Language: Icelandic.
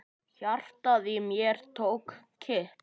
Hjartað í mér tók kipp.